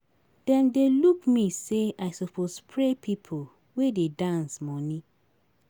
Dem dey look me sey I suppose spray pipo wey dey dance moni.